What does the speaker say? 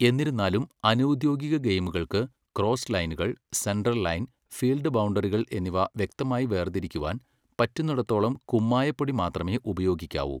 എന്നിരുന്നാലും, അനൗദ്യോഗിക ഗെയിമുകൾക്ക്, ക്രോസ് ലൈനുകൾ, സെൻട്രൽ ലൈൻ, ഫീൽഡ് ബൗണ്ടറികൾ എന്നിവ വ്യക്തമായി വേർതിരിക്കുവാൻ പറ്റുന്നിടത്തോളം കുമ്മായ പൊടി മാത്രമേ ഉപയോഗിക്കാവൂ.